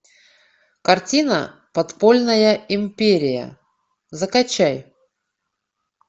картина подпольная империя закачай